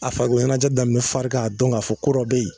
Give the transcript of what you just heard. A farikoloɲɛnajɛ daminɛ fari k'a dɔn k'a fɔ ko ko dɔ be yen